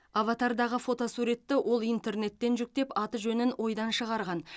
аватардағы фотосуретті ол интернеттен жүктеп аты жөнін ойдан шығарған